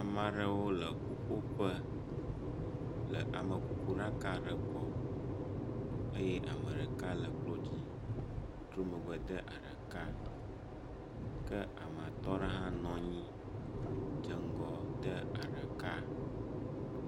Ame aɖewo le ƒuƒoƒe le amekukuɖaka aɖe gbɔ eye ame ɖeka le klodzi trɔ megbe de aɖaka kea me atɔ aɖe hã nɔ anyi dze ŋgɔ de aɖaka.